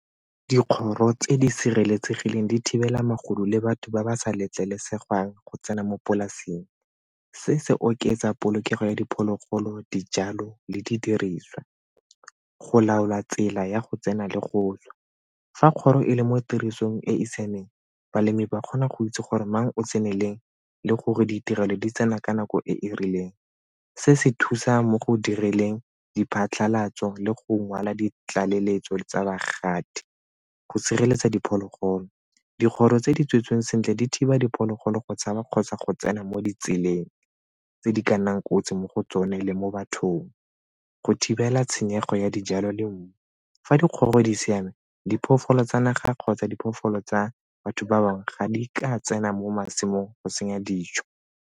Dikgoro tse di sireletsegileng di thibela magodu le batho ba ba sa letlelesegang go tsena mo polaseng. Se se oketsa polokego ya diphologolo, dijalo le di diriswa. Go laola tsela ya go tsena le go tswa, fa kgoro e le mo tirisong e e siameng balemi ba kgona go itse gore mang o tseneleng le gore ditirelo di tsena ka nako e e rileng. Se se thusa mo go dirileng diphatlhalatso le go ngwala ditlaleletso tsa bagatisi. Go sireletsa diphologolo, dikgoro tse di tswetsweng sentle di thiba diphologolo go tshaba kgotsa go tsena mo ditseleng tse di ka nnang kotsi mo go tsone le mo bathong. Go thibela tshenyego ya dijalo le mmu, fa dikgoro di siame, diphologolo tsa naga kgotsa diphoofolo tsa batho ba bangwe ga di ka tsena mo masimong go senya dijo.